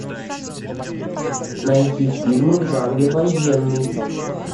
найти фильмы в жанре военный